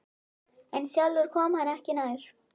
En sjálfur kom hann ekki nær.